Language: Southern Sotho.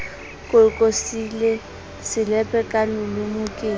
kokosile selepe a loloma ke